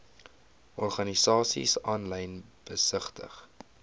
organisasies aanlyn besigtig